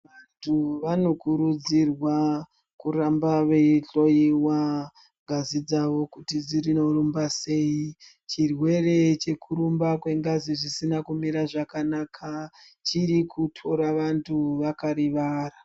Vantu vanokurudzirwa kuramba veihloiwa ngazi dzavo kuti dzirinorumba sei chirwere chekurumba kwengazi zvisina kumira zvakanaka chiri kutora vantu vakarivara.